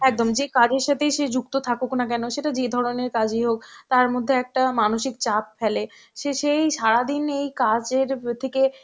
একদম যে কাছের সাথেই সে যুক্ত থাকুক না কেন সেটা যে ধরনের কাজই হোক তার মধ্যে একটা মানসিক চাপ ফেলে সে সেই সারাদিন এই কাজের থেকে